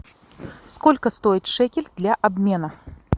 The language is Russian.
сколько стоит шекель для обмена